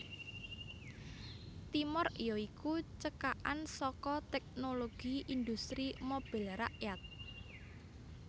Timor ya iku cekakan saka Teknologi Industri Mobil Rakyat